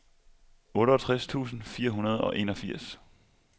otteogtres tusind fire hundrede og enogfirs